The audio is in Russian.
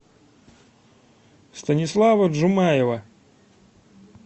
станислава джумаева